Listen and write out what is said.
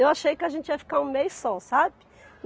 Eu achei que a gente ia ficar um mês só, sabe?